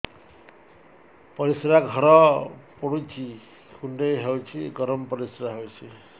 ପରିସ୍ରା ଘର ପୁଡୁଚି କୁଣ୍ଡେଇ ହଉଚି ଗରମ ପରିସ୍ରା ହଉଚି